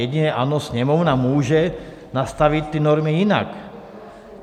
Jedině, ano, Sněmovna může nastavit ty normy jinak.